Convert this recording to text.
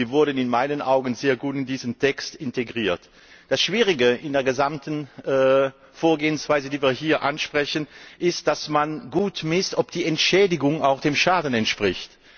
Sie wurden in meinen Augen sehr gut in diesen Text integriert. Das Schwierige in der gesamten Vorgehensweise, die wir hier ansprechen, ist die korrekte Bewertung, ob die Entschädigung auch dem Schaden entspricht.